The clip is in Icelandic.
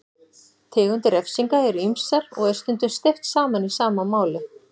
Tegundir refsinga eru ýmsar og er stundum steypt saman í sama máli.